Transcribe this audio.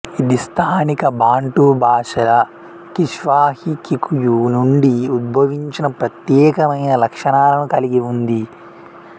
ఇది స్థానిక బాంటు భాషల కిష్వాహి కికుయు నుండి ఉద్భవించిన ప్రత్యేకమైన లక్షణాలను కలిగి ఉంది